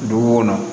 Du b'o kɔnɔ